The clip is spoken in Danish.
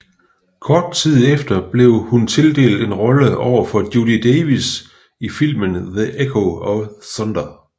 Kort tid efter blev hun tildelt en rolle overfor Judy Davis i filmen The Echo of Thunder